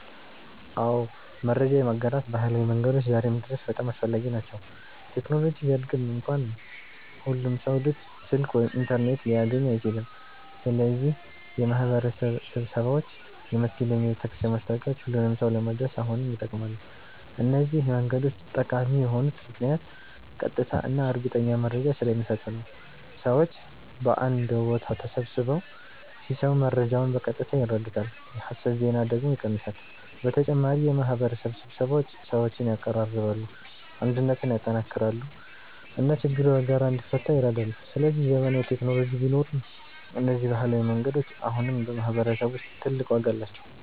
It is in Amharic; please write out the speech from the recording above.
አዎ፣ መረጃ የማጋራት ባህላዊ መንገዶች ዛሬም ድረስ በጣም አስፈላጊ ናቸው። ቴክኖሎጂ ቢያድግም እንኳ ሁሉም ሰው ስልክ ወይም ኢንተርኔት ሊያገኝ አይችልም። ስለዚህ የማህበረሰብ ስብሰባዎች፣ የመስጊድ ወይም የቤተክርስቲያን ማስታወቂያዎች ሁሉንም ሰው ለመድረስ አሁንም ይጠቅማሉ። እነዚህ መንገዶች ጠቃሚ የሆኑት ምክንያት ቀጥታ እና እርግጠኛ መረጃ ስለሚሰጡ ነው። ሰዎች በአንድ ቦታ ተሰብስበው ሲሰሙ መረጃውን በቀጥታ ይረዱታል፣ የሐሰት ዜና ደግሞ ይቀንሳል። በተጨማሪ የማህበረሰብ ስብሰባዎች ሰዎችን ያቀራርባሉ፣ አንድነትን ያጠናክራሉ እና ችግር በጋራ እንዲፈታ ይረዳሉ። ስለዚህ ዘመናዊ ቴክኖሎጂ ቢኖርም እነዚህ ባህላዊ መንገዶች አሁንም በማህበረሰብ ውስጥ ትልቅ ዋጋ አላቸው።